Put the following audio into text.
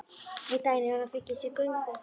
Einn daginn hefur hann fengið sér göngu.